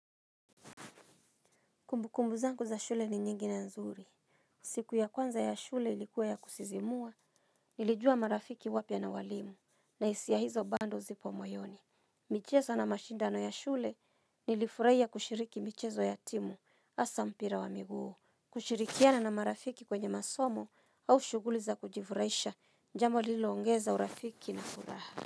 Kumbukumbu zangu za shule ni nyingi na nzuri. Siku ya kwanza ya shule ilikuwa ya kusisimua, nilijua marafiki wapya na walimu, na hisia hizo bando zipo moyoni. Michezo na mashindano ya shule, nilifurahia kushiriki michezo ya timu, hasa mpira wa miguu. Kushirikiana na marafiki kwenye masomo, au shughuliza kujifuraisha, jambo liloongeza urafiki na furaha.